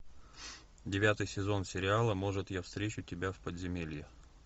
девятый сезон сериала может я встречу тебя в подземелье